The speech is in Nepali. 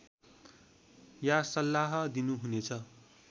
या सल्लाह दिनु हुनेछ